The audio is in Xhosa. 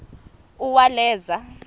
uwaleza